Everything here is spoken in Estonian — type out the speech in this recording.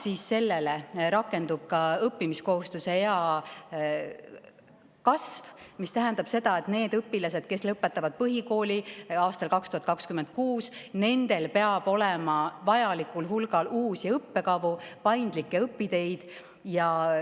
Lisaks sellele rakendub õppimiskohustuse ea kasv, mis tähendab seda, et nendel õpilastel, kes lõpetavad põhikooli aastal 2026, peab olema vajalikul hulgal uusi õppekavu ja paindlikke õpiteid.